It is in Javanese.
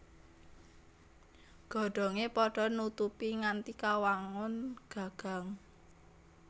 Godhongé padha nutupi nganti kawangun gagang